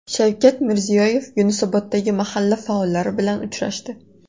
Shavkat Mirziyoyev Yunusoboddagi mahalla faollari bilan uchrashdi.